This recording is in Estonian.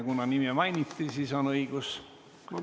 Kuna nime mainiti, siis on selleks õigus.